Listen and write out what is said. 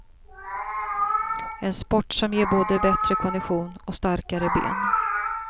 En sport som ger både bättre kondition och starkare ben.